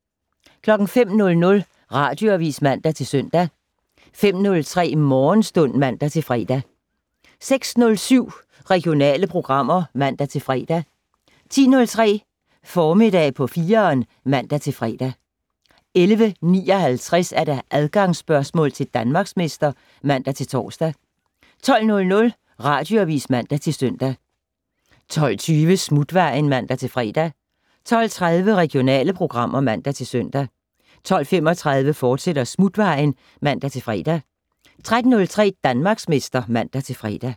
05:00: Radioavis (man-søn) 05:03: Morgenstund (man-fre) 06:07: Regionale programmer (man-fre) 10:03: Formiddag på 4'eren (man-fre) 11:59: Adgangsspørgsmål til Danmarksmester (man-tor) 12:00: Radioavis (man-søn) 12:20: Smutvejen (man-fre) 12:30: Regionale programmer (man-søn) 12:35: Smutvejen, fortsat (man-fre) 13:03: Danmarksmester (man-fre)